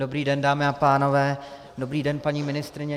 Dobrý den, dámy a pánové, dobrý den paní ministryně.